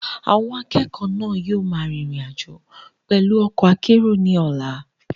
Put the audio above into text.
Àwọn akẹ́kọ̀ọ́ náà yóò máa rin ìrìn àjò pẹ̀lú ọkọ̀ akérò ní ọ̀la.